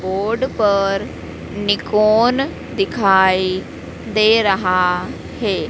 Board पर Nikon दिखाई दे रहा है।